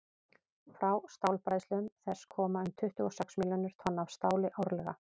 frá stálbræðslum þess koma um tuttugu og sex milljónir tonna af stáli árlega